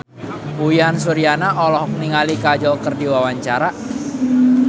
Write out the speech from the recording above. Uyan Suryana olohok ningali Kajol keur diwawancara